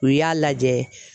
U y'a lajɛ.